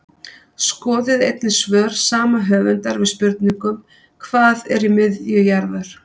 Skoðið einnig svör sama höfundar við spurningunum Hvað er í miðju jarðar?